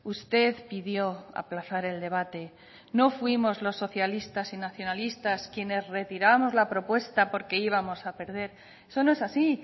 usted pidió aplazar el debate no fuimos los socialistas y nacionalistas quienes retiramos la propuesta porque íbamos a perder eso no es así